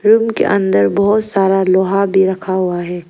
Room के अंदर बहुत सारा लोहा भी रखा हुआ है।